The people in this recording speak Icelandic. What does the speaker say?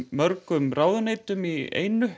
mörgum ráðuneytum í einu